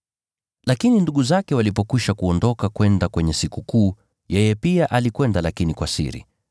Lakini ndugu zake walipokwisha kuondoka kwenda kwenye Sikukuu, yeye pia alikwenda lakini kwa siri.